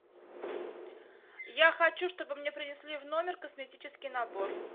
я хочу чтобы мне принесли в номер косметический набор